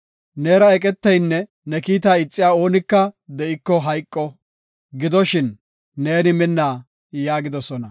Neera eqeteynne ne kiita ixiya oonika de7iko, hayqo. Gidoshin neeni minna” yaagidosona.